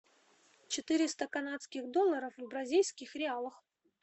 четыреста канадских доллара в бразильских реалах